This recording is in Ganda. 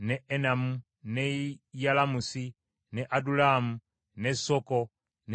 n’e Yalamusi n’e Adulamu, n’e Soko, n’e Azeka